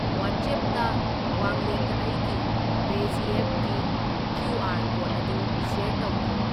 ꯋꯥꯠꯁꯑꯦꯞꯇ ꯋꯥꯡꯂꯦꯟꯗ ꯑꯩꯒꯤ ꯄꯦꯖꯤꯑꯦꯞ ꯒꯤ ꯀ꯭ꯌꯨ.ꯑꯥꯔ. ꯀꯣꯗ ꯑꯗꯨ ꯁ꯭ꯌꯔ ꯇꯧꯈꯣ꯫